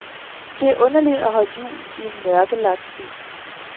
Det er underligt at holde jul i en mørkelagt by.